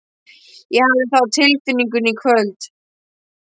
Ég hafði það á tilfinningunni í kvöld.